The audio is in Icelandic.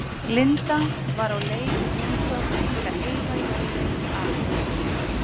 Linda var á leið í heimsókn til að eyða jólunum á